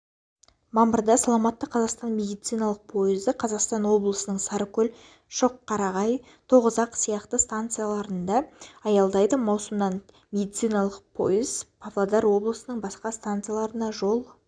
мамырда саламатты қазақстан медициналық пойызы қостанай облысының сарыкөл шоққарағай тоғызақ сияқты станциясында аялдайды маусымнан медициналық пойыз павлодар облысының басқа стансасына жол